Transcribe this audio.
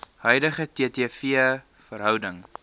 huidige ttv verhouding